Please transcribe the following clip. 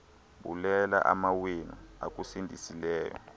bulela amawenu akusindisileyo